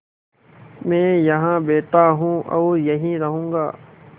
मैं यहाँ बैठा हूँ और यहीं रहूँगा